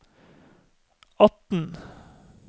atten